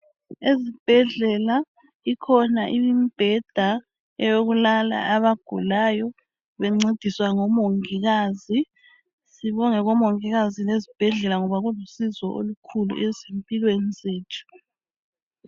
Ezibhedlela ikhona imibheda eyokulala abagulayo bencediswa ngomongikazi. Sibonge ke omongikazi lezibhedlela ngoba kulusizo olukhulu ezimpelwni zethu